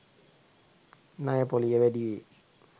ණය පොලිය වැඩිවේ.